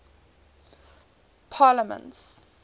parliaments